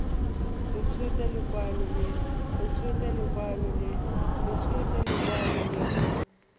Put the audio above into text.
a tshotse lekwalo le le